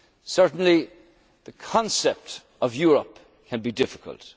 confidence. Certainly the concept of Europe can